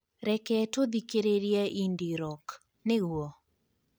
reke tũthikĩrĩrie indie rock, nĩguo